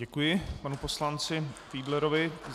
Děkuji panu poslanci Fiedlerovi.